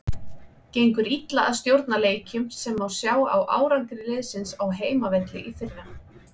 Gengur illa að stjórna leikjum sem má sjá á árangri liðsins á heimavelli í fyrra.